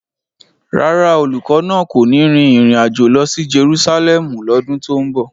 Rárá, olùkọ́ náà kò ní rin ìrìn àjò lọ sí Jerusalẹmu lọ́dún tó ń bọ̀.